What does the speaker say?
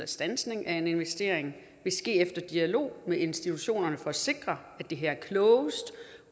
standsning af en investering vil ske efter dialog med institutionerne for at sikre at det er klogest